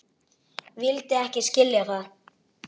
Vildi ekki skilja það.